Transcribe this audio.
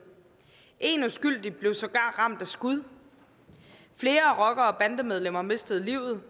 en uskyldig blev sågar ramt af skud flere rocker og bandemedlemmer mistede livet